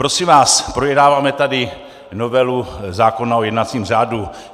Prosím vás, projednáváme tady novelu zákona o jednacím řádu.